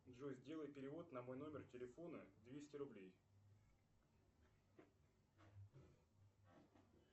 джой сделай перевод на мой номер телефона двести рублей